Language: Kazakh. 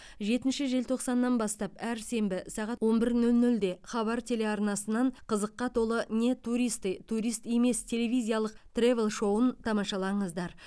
жетінші желтоқсаннан бастап әр сенбі сағат он бір нөл нөлде хабар телеарнасынан қызыққа толы не туристы турист емес телевизиялық тревел шоуын тамашалаңыздар